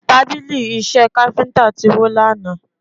Tábìlì Iṣẹ́ káfíńtà ti wó lánàá